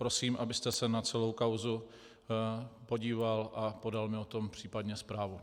Prosím, abyste se na celou kauzu podíval a podal mi o tom případně zprávu.